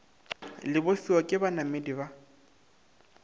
le bofiwa ke banamedi ba